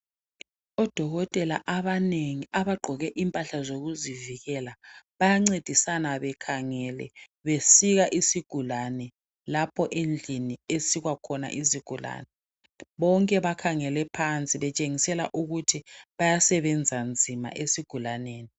Odokotela abanengi, abagqoke impahla zokuzivikela, bayancedisana bekhangele, besika isigulane, lapho endlini ekusikwa khona isigulane. Bonke bakhangele phansi betshengisela ukuthi, bayasebenza nzima esigulaneni.